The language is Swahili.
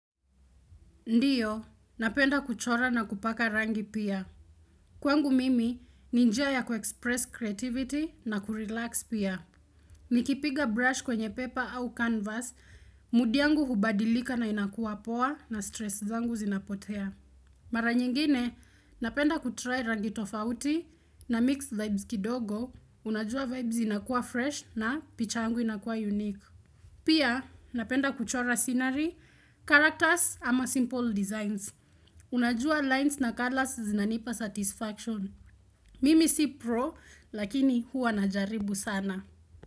Ndiyo, napenda kuchora na kupaka rangi pia. Kwangu mimi, ni njia ya kuexpress creativity na kurelax pia. Nikipiga brush kwenye paper au canvas, mood yangu hubadilika na inakuwa poa na stress zangu zinapotea. Mara nyingine, napenda kutry rangi tofauti namix vibes kidogo, unajua vibes inakuwa fresh na picha yangu inakuwa unique. Pia, napenda kuchora scenery, characters ama simple designs. Unajua lines na colors zinanipa satisfaction. Mimi si pro lakini huwa najaribu sana.